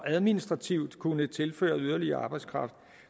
administrativt kunne tilføre yderligere arbejdskraft